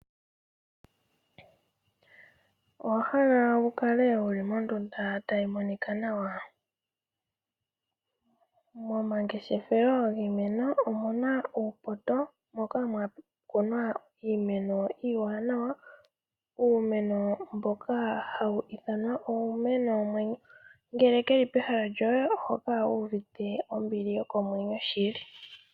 Owa hala wu kale wuli mondunda tayi monika nawa? Momangeshefelo giimeno omuna uupoto moka mwa kunwa iimeno iiwanawa. Uumeno mboka hawu ithanwa uumeno womwenyo, ngele keli pehala lyoye oho kala wu uvite ombili yokomwenyo shili.